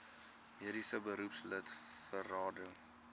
mediese beroepslid berading